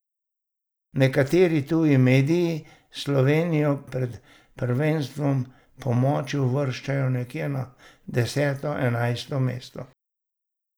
Nekateri tuji mediji Slovenijo pred prvenstvom po moči uvrščajo nekje na deseto, enajsto mesto.